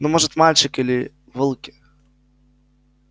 ну может мальчик или волки